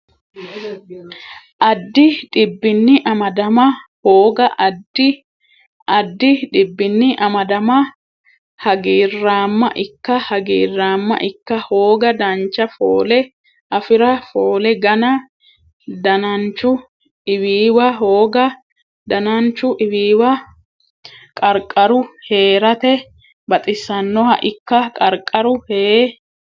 addi dhibbinni amadama hooga Addi addi dhibbinni amadamma Hagiirraamma ikka Hagiirraamma ikka hooga Dancha foole afi ra Foole gana Dananchu iwiiwa hooga Dananchu iwiiwa Qarqaru hee rate baxisannoha ikka Qarqaru hee.